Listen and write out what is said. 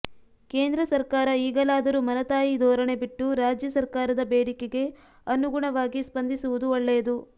ಕೇಂದ್ರ ಸರ್ಕಾರ ಈಗಲಾದರೂ ಮಲತಾಯಿ ಧೋರಣೆ ಬಿಟ್ಟು ರಾಜ್ಯ ಸರ್ಕಾರದ ಬೇಡಿಕೆಗೆ ಅನುಗುಣವಾಗಿ ಸ್ಪಂದಿಸುವುದು ಒಳ್ಳೆಯದು